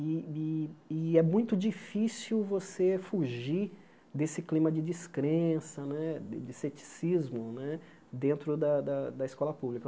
E e e é muito difícil você fugir desse clima de descrença né, de de ceticismo né dentro da da da da escola pública.